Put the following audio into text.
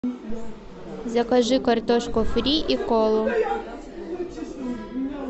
закажи картошку фри и колу